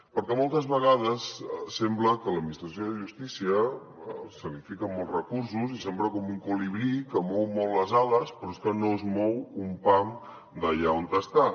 perquè moltes vegades sembla que a l’administració de justícia se li fiquen molts recursos i sembla com un colibrí que mou molt les ales però és que no es mou un pam d’allà on està